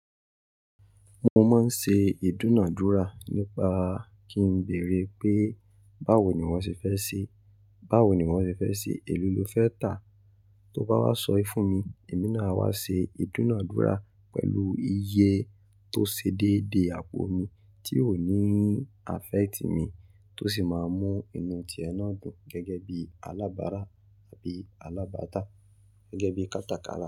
Mo máa ń ṣe ìdúnàdúrà nípa kí n bèèrè pé báwo niwo ṣe fẹ́ ṣe, báwo niwọ́ ṣe fẹ́ ṣe, èéló lọ fẹ́ tà. Tó bá wá sọye fún mi, èmi náà a wá ṣe ìdúnádúrà pẹ̀lú iye tó ṣe déedee àpò mi tí ò ní affect mi tó sì máa mú inú ti ẹ náà dùn gẹ́gẹ́ bii alábárá àbí alábàtà gẹ́gẹ́ bí kátakara.